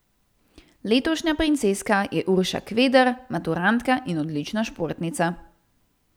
Letošnja Princeska je Urša Kveder, maturantka in odlična športnica.